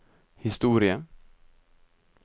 historie